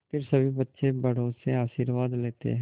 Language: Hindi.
फिर सभी बच्चे बड़ों से आशीर्वाद लेते हैं